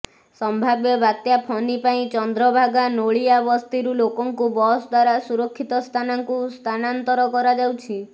ସମ୍ଭାବ୍ୟ ବାତ୍ୟା ଫନି ପାଇଁ ଚନ୍ଦ୍ରଭାଗା ନୋଳିଆ ବସ୍ତିରୁ ଲୋକଙ୍କୁ ବସ୍ ଦ୍ୱାରା ସୁରକ୍ଷିତ ସ୍ଥାନକୁ ସ୍ଥାନାନ୍ତର କରାଯାଉଛି